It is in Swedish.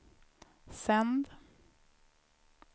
sänd